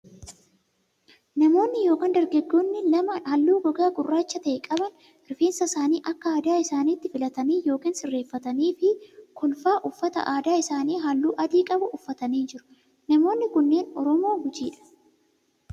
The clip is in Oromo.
Namoonni yookin dargaggoonni lama halluu gogaa gurraacha ta'e qaban rifeensa isaanii akka aadaa isaanitti filatanii yookin sirreeffatanii fi kolfaa uffata aadaa isaanii halluu adii qabu uffatanii jiru. Namoonni kunneen Oromoo Gujii dha.